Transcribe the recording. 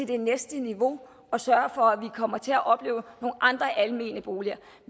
det næste niveau at sørge for at vi kommer til at opleve nogle andre almene boliger